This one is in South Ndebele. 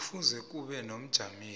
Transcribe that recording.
kufuze kube nomjameli